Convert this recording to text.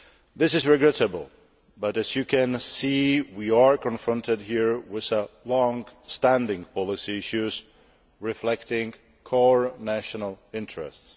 This is regrettable, but as you can see we are confronted here with long standing policy issues reflecting core national interests.